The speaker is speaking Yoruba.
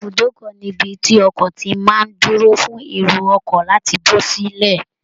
Ibùdókọ ni ibi tí ọkọ ti má a ń dúró fun èrò ọkọ̀ láti bọ́ sílẹ̀